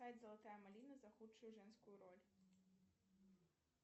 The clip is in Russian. золотая малина за худшую женскую роль